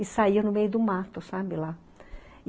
E saiam no meio do mato, sabe, lá.